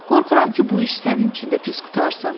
Qorxuram ki, bu iş sənin üçün də pis qurtarsın.